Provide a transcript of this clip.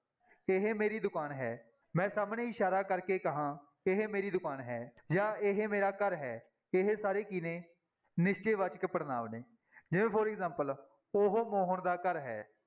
ਇਹ ਮੇਰੀ ਦੁਕਾਨ ਹੈ, ਮੈਂ ਸਾਹਮਣੇ ਇਸ਼ਾਰਾ ਕਰਕੇ ਕਹਾਂ, ਇਹ ਮੇਰੀ ਦੁਕਾਨ ਹੈ ਜਾਂ ਇਹ ਮੇਰਾ ਘਰ ਹੈ ਇਹ ਸਾਰੇ ਕੀ ਨੇ, ਨਿਸ਼ਚੈ ਵਾਚਕ ਪੜ੍ਹਨਾਂਵ ਨੇ, ਜਿਵੇਂ for example ਉਹ ਮੋਹਨ ਦਾ ਘਰ ਹੈ।